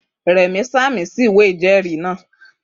Rẹ̀mí sàmì sí ìwé ìjẹ́ẹ̀rí náà